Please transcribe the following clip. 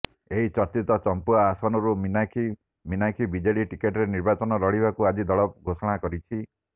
ଏହି ଚର୍ଚ୍ଚିତ ଚମ୍ପୁଆ ଆସନରୁ ମୀନାକ୍ଷୀ ମୀନାକ୍ଷି ବିଜେଡ଼ି ଟିକଟରେ ନିର୍ବାଚନ ଲଢିବାକୁ ଆଜି ଦଳ ଘୋଷଣା କରିଛି